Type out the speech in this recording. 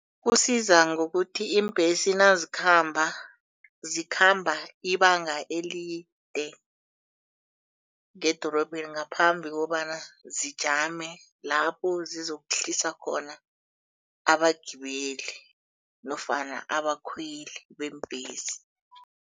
Kusiza ngokuthi iimbhesi nazikhamba zikhamba ibanga elide ngedorobheni ngaphambi kobana zijame lapho zizokuhlisa khona abagibeli nofana abakhweli beembhesi.